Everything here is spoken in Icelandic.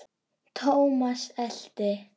Thomas elti.